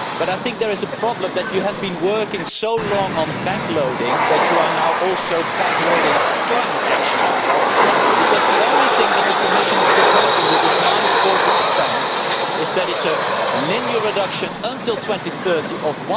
I think the problem is that you have been working so long on back loading that you are now also back loading climate action, because the only thing that the Commission is proposing with its 40 is that it is a linear reduction until 2030 of